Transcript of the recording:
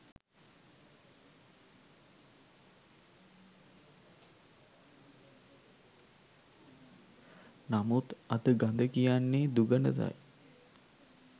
නමුත් අද ගඳ කියන්නේ දුගඳටයි!